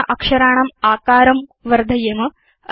अधुना अक्षराणाम् आकारं वर्धयेम